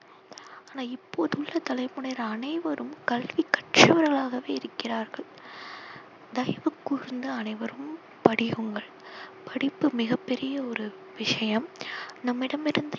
ஆனால் இப்போதுள்ள தலைமுறை அனைவரும் கல்வி கற்றவர்களாகவே இருக்கிறார்கள். தயவு கூர்ந்து அனைவரும் படியுங்கள். படிப்பு மிக பெரிய ஒரு விஷயம். நம்மிடம் இருந்து